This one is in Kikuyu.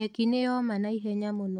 Nyeki nĩyoma naihenya mũno.